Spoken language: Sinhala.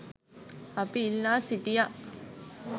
අපි ඉල්ලා සිටියා.